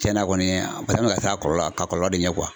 Cɛnna kɔni an fɛnɛ bɛ ka sir'a kɔlɔlɔ k'a kɔlɔlɔ de ɲɛ .